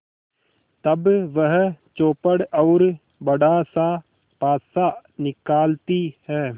तब वह चौपड़ और बड़ासा पासा निकालती है